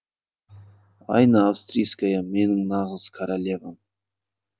айна австрийская менің нағыз королевам